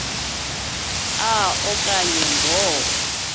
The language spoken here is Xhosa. a okanye ngo